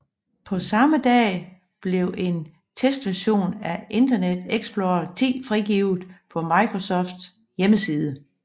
På samme dag blev en testversion af Internet Explorer 10 frigivet på Microsofts hjemmeside